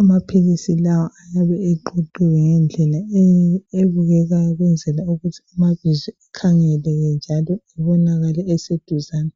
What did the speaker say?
Amaphilisi la ayabe eqoqiwe ngendlela ebukekayo ukwenzela ukuthi amabizo ekhangeleke njalo ebonakale eseduzane.